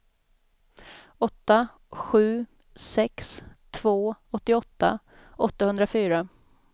åtta sju sex två åttioåtta åttahundrafyra